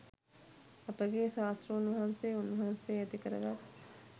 අපගේ ශාස්තෘන් වහන්සේ උන්වහන්සේ ඇති කරගත්